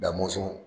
Da mɔnsɔn